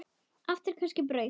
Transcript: Áttu kannski brauð?